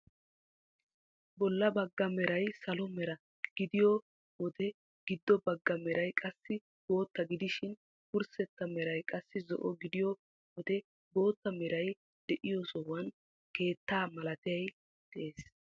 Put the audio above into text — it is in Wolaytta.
Bolla bagga meray salo mera gidiyoo wode giddo bagga meray qassi bootta gidishin wurssetta meray qassi zo"o gidiyoo wode bootta meray de'iyoo sohuwaan keettaa malaatay de'ees.